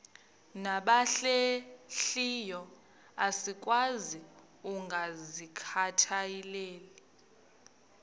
nabahlehliyo asikwazi ukungazikhathaieli